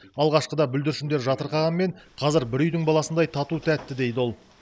алғашқыда бүлдіршіндер жатырқағанмен қазір бір үйдің баласындай тату тәтті дейді ол